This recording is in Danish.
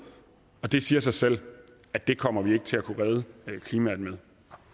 og det siger sig selv at det kommer vi ikke til at kunne redde klimaet med